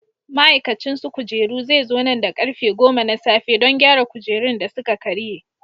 Ma'aikacin su kujeru zai zo nan da karfe 10: na safe, don gyara kujerun da suka karye.